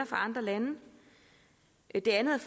fra andre lande det andet